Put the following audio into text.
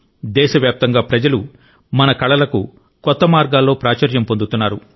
దేశవ్యాప్తంగా ప్రజలు మన కళలకు కొత్త మార్గాల్లో ప్రాచుర్యం పొందుతున్నారు